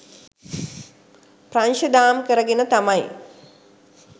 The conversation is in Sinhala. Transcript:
ප්‍රංශ දාම් කරගෙන තමයි